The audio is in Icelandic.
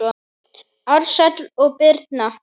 Ársæll og Birna.